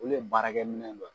Olu ye baarakɛminɛ dɔ ye.